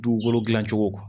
Dugukolo gilan cogo